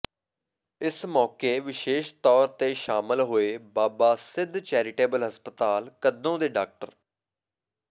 ਇਸ ਮੌਕੇ ਵਿਸ਼ੇਸ਼ ਤੌਰ ਤੇ ਸ਼ਾਮਲ ਹੋਏ ਬਾਬਾ ਸਿੱਧ ਚੈਰੀਟੇਬਲ ਹਸਪਤਾਲ ਕੱਦੋਂ ਦੇ ਡਾ